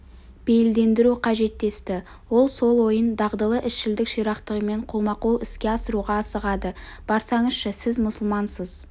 бейілдендіру қажет десті ол сол ойын дағдылы ісшілдік ширақтығымен қолма-қол іске асыруға асығады барсаңызшы сіз мұсылмансыз